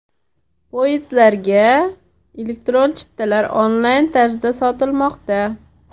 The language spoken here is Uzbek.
Poyezdlarga elektron chiptalar onlayn tarzda sotilmoqda.